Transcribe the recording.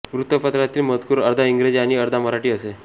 वृत्तपत्रातील मजकूर अर्धा इंग्रजी आणि अर्धा मराठी असे